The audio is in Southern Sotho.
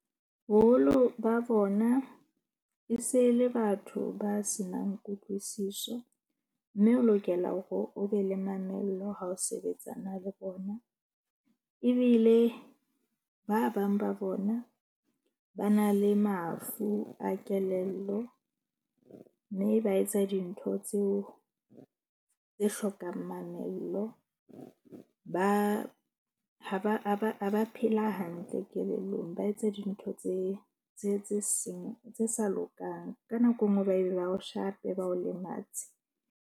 Boholo ba bona e se le batho ba senang kutlwisiso. Mme o lokela hore o be le mamello ha o sebetsana le bona. Ebile ba bang ba bona ba na le mafu a kelello. Mme ba etsa dintho tseo tse hlokang mamello ba ha ha ba phela hantle kelellong. Ba etsa dintho tse seng tse sa lokang. Ka nako e nngwe ba be ba o shape, ba o lematse.